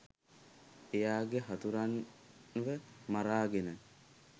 එයාගේ හතුරන්ව මරාගෙන